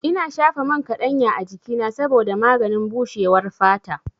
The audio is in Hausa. Ina shafa man kaɗanya a jikina saboda maganin bushewar fata.